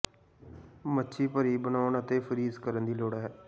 ਮੱਛੀ ਭਰੀ ਬਣਾਉਣ ਅਤੇ ਫਰੀਜ਼ ਕਰਨ ਦੀ ਲੋੜ ਹੈ